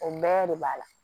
O bɛɛ de b'a la